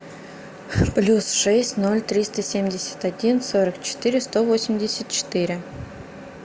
плюс шесть ноль триста семьдесят один сорок четыре сто восемьдесят четыре